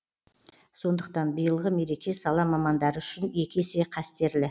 сондықтан биылғы мереке сала мамандары үшін екі есе қастерлі